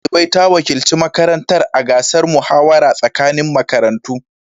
Shugabar ɗalibai ta wakilci makarantar a gasar muhawara tsakanin makarantu.